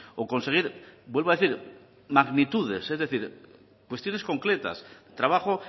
o conseguir vuelvo a decir magnitudes es decir cuestiones concretas trabajo